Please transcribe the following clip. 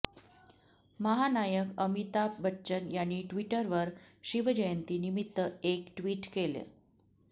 महानायक अमिताभ बच्चन यांनी ट्विटरवर शिवजयंती निमित्त एक ट्वीट केलं